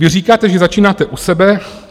Vy říkáte, že začínáte u sebe.